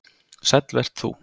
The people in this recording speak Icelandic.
Sæll vert þú